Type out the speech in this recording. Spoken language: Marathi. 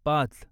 पाच